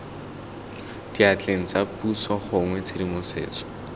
diatleng tsa puso gongwe tshedimosetso